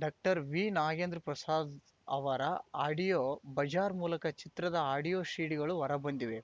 doctor V Nagendra Prasad ಅವರ audio bazaar ಮೂಲಕ ಚಿತ್ರದ ಆಡಿಯೋ ಸೀಡಿಗಳು ಹೊರ ಬಂದಿವೆ